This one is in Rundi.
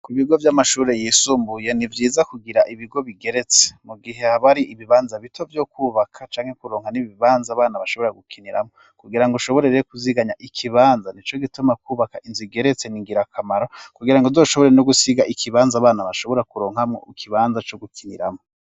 Ku ibigo vy'amashure yisumbuye nivyiza kugira ibigo bigeretse mu gihe habari ibibanza bito vyo kwubaka canke kuronka n'ibibanza bana bashobora gukiniramwo kugira ngo ushoborereyo kuziganya ikibanza ni co gituma kwubaka inzu igeretse ningira akamaro kugira ngo doshobore no gusiga ikibanza bana bashobora kuronkamwo ikibanza co gukiniramwo.